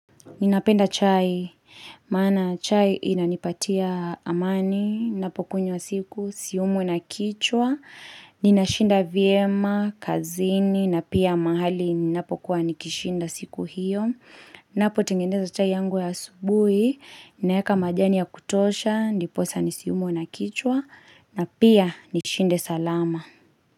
Ninapenda chai, maana chai inanipatia amani ninapokunywa siku siumwi na kichwa, ninashinda vyema kazini na pia mahali ninapokuwa nikishinda siku hio. Ninapotengeneza chai yangu ya asubuhi, ninaweka majani ya kutosha, ndiposa nisiumwe na kichwa na pia nishinde salama.